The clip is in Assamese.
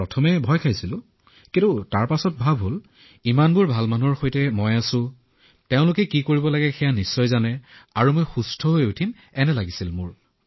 প্ৰথমে যি ভয় খাইছিলো পিছলৈ এনে লাগিল যে হয় মই ভাল লোকৰ সৈতে আছো তেওঁলোকে জানে ৰি কৰিব লাগে আৰু মই আৰোগ্য হৈ উঠিম এনেকুৱা অনুভৱ হৈছিল